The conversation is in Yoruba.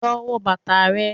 Lọ wo bàtà rẹ.